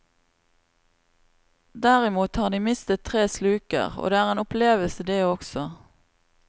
Derimot har de mistet tre sluker, og det er en opplevelse det også.